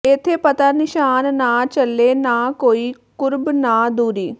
ਏਥੇ ਪਤਾ ਨਿਸ਼ਾਨ ਨਾ ਚਲੇ ਨਾ ਕੋਈ ਕੁਰਬ ਨਾ ਦੂਰੀ